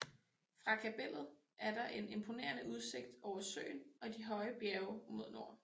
Fra kapellet er der en imponerende udsigt over søen og de høje bjerge mod nord